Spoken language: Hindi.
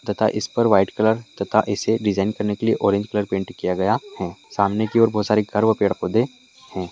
तथा ईसपर व्हाइट कलर तथा इसे डिज़ाइन करने के लिए ऑरेंज कलर पेंट किया गया है सामने की और बहुत सारे घर व पेड़ पौधे है।